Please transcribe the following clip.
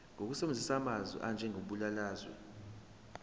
ngokusebenzisa amasu anjengebalazwe